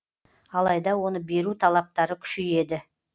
алайда оны беру талаптары күшейеді